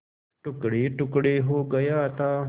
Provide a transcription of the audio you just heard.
टुकड़ेटुकड़े हो गया था